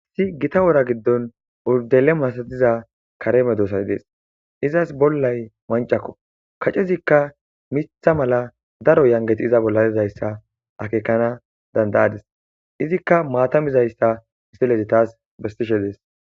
si gita wora giddon urdele masatiza kareme doosay dees izas bollay mancakko kacezikka mitha mala daro yangeti iza bolladizayssa akeekana dandayadis izikka maatamizayssa istilezi taas bestishe dees